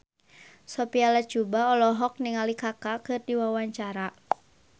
Sophia Latjuba olohok ningali Kaka keur diwawancara